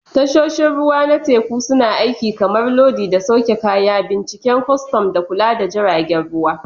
Tashoshin ruwa na teku suna aiki kamar lodi da sauke kaya, binciken kwastan, da kula da jiragen ruwa.